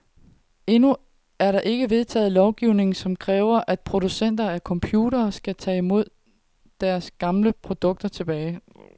Endnu er der ikke vedtaget lovgivning, som kræver, at producenter af computere skal tage deres gamle produkter tilbage.